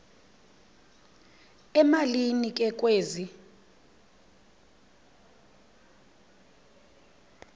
emalini ke kwezi